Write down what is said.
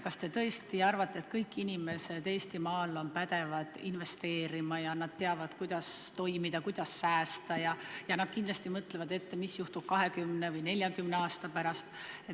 Kas te tõesti arvate, et kõik inimesed Eestimaal on pädevad investeerima ja teavad, kuidas toimida, kuidas säästa, ja kindlasti mõtlevad ette, mis juhtub 20 või 40 aasta pärast?